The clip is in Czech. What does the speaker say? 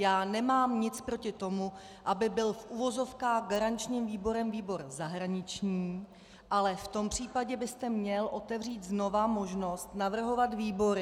Já nemám nic proti tomu, aby byl v uvozovkách garančním výborem výbor zahraniční, ale v tom případě byste měl otevřít znovu možnost navrhovat výbory.